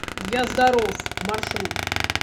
я здоров маршрут